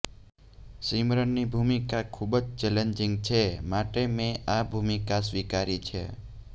સિમરનની ભૂમિકા ખુબ જ ચેલેન્જિંગ છે માટે મેં આ ભૂમિકા સ્વીકારી છે